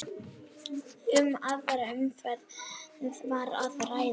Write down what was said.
Um aðra umferð var að ræða